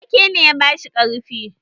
Wake ne ya bashi ƙarfi.